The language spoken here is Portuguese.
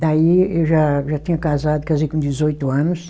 Daí eu já, eu já tinha casado, casei com dezoito anos.